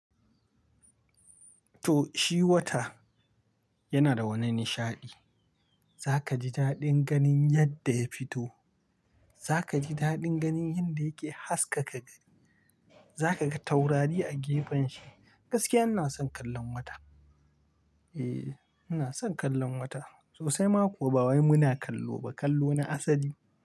To, shi wata yana da wani nishaɗi. Za ka ji daɗin ganin yadda ya fito, za ka ji daɗin ganin yadda yake haskaka gani. Za ka ga taurari a gefen shi. Gaskiya ina son kallon wata. Eee, ina son kallon wata. Sosai ma kuwa ba wai muna kallo ba, kallo na asali.